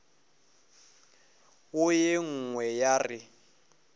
wo ye nngwe ya re